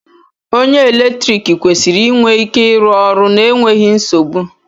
Onye eletrik kwesịrị inwe ike ịrụ ọrụ n'enweghị nsogbu